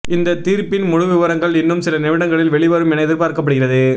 இந்த தீர்ப்பின் முழுவிபரங்கள் இன்னும் சில நிமிடங்களில் வெளிவரும் என எதிர்பார்க்கப்படுகிறது